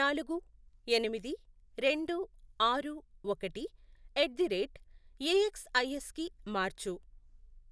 నాలుగు, ఎనిమిది, రెండు, ఆరు, ఒకటి, ఎట్ ది రేట్ ఏఎక్స్ఐఎస్ కి మార్చు.